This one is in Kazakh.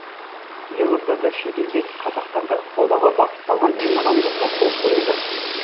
елордада шетелдегі қазақтарды қолдауға бағытталған меморандумға қол қойылды